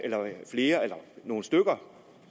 nogle stykker